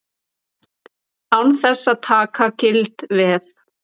Án þess að taka gild veð.